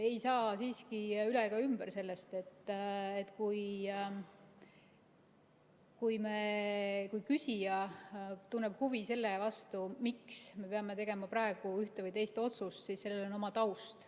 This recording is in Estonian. Ei saa siiski üle ega ümber sellest, et kui küsija tunneb huvi selle vastu, miks me peame tegema praegu ühte või teist otsust, siis sellel on oma taust.